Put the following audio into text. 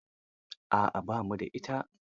A'a ba mu da ita.